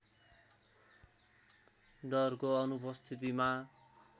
डरको अनुपस्थितिमा